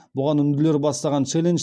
бұған үнділер бастаған челлендж